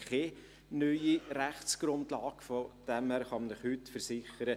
Von daher kann ich Ihnen versichern: